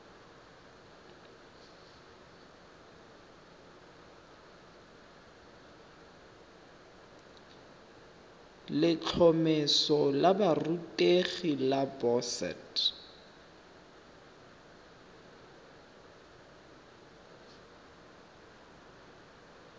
letlhomeso la borutegi la boset